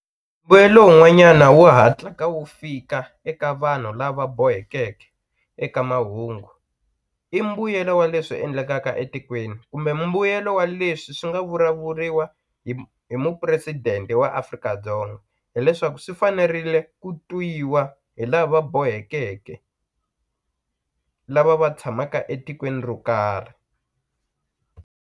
Mbuyelo wun'wanyana wu hatlaka wu fika eka vanhu lava bohekeke eka mahungu i mbuyelo wa leswi endlekaka etikweni kumbe mbuyelo wa leswi swi nga vulavuriwa hi mupresidente wa Afrika-Dzonga hileswaku swi fanerile ku twiwa hi lava boheke lava va tshamaka etikweni ro karhi.